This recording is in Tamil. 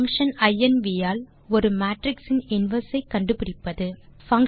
பங்ஷன் inv ஆல் ஒரு மேட்ரிக்ஸ் இன் இன்வெர்ஸ் ஐ கண்டுபிடிப்பது 4